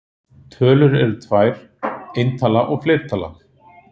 Tölur eru tvær: eintala og fleirtala.